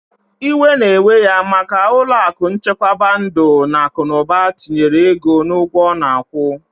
Iwe na ewe ya maka ulo aku nchekwaba ndu na akunuba tinyere ego na ugwo ona akwu.